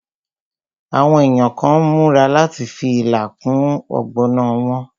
Àwọn èèyàn kàn n múra láti fi ilá kún ọ̀gbọ̀nà wọn